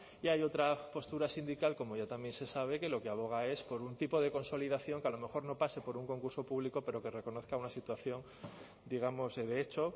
y hay otra postura sindical como ya también se sabe que lo que aboga es por un tipo de consolidación que a lo mejor no pase por un concurso público pero que reconozca una situación digamos de hecho